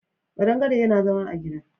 Ƙadangare yana zama a gida.